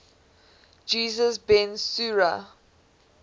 jesus ben sira